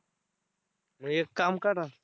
मग एक काम करा.